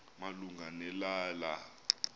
malunga ne lala